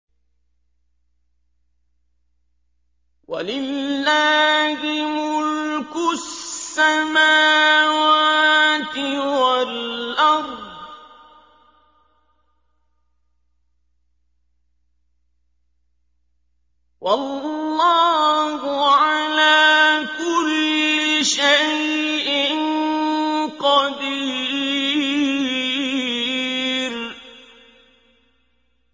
وَلِلَّهِ مُلْكُ السَّمَاوَاتِ وَالْأَرْضِ ۗ وَاللَّهُ عَلَىٰ كُلِّ شَيْءٍ قَدِيرٌ